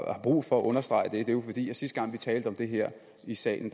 brug for at understrege det er at sidste gang vi talte om det her i salen